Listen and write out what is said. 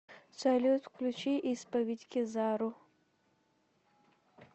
салют включи исповедь кизару